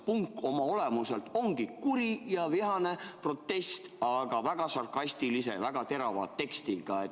Punk oma olemuselt ongi kuri ja vihane protest, väga sarkastilise, väga terava tekstiga.